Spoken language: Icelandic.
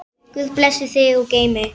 Guð blessi þig og geymi.